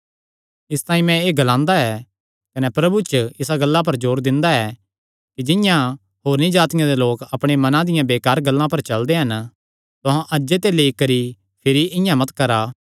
इसतांई मैं एह़ ग्लांदा ऐ कने प्रभु च इसा गल्ला पर जोर दिंदा ऐ कि जिंआं होरनी जातिआं दे लोक अपणे मनां दियां बेकार गल्लां पर चलदे हन तुहां अज्जे ते लेई करी भिरी इआं मत करा